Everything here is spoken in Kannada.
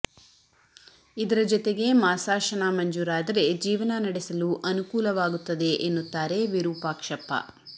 ಇದರ ಜತೆಗೆ ಮಾಸಾಶನ ಮಂಜೂರಾದರೆ ಜೀವನ ನಡೆಸಲು ಅನುಕೂಲವಾಗುತ್ತದೆ ಎನ್ನುತ್ತಾರೆ ವಿರೂಪಾಕ್ಷಪ್ಪ